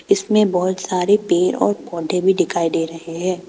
इसमें बहोत सारे पेड़ और पौधे भी दिखाई दे रहे हैं।